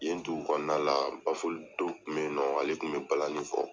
Yen dugukɔnɔna la baful dɔw tun bɛ yen nɔ ale tun bɛ balani fɔ